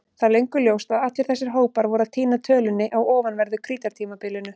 Það er löngu ljóst að allir þessir hópar voru að týna tölunni á ofanverðu Krítartímabilinu.